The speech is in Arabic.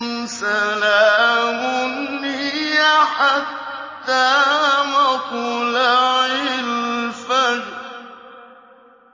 سَلَامٌ هِيَ حَتَّىٰ مَطْلَعِ الْفَجْرِ